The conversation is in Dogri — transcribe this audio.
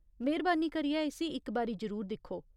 मेह्‌रबानी करियै इस्सी इक बारी जरूर दिक्खो।